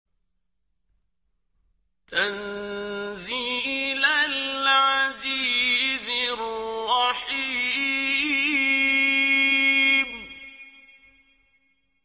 تَنزِيلَ الْعَزِيزِ الرَّحِيمِ